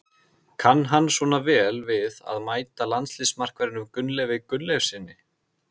Kann hann svona vel við að mæta landsliðsmarkverðinum Gunnleifi Gunnleifssyni?